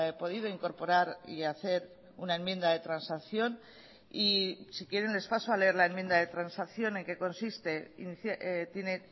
podido incorporar y hacer una enmienda de transacción y si quieren les paso a leer la enmienda de transacción en qué consiste tiene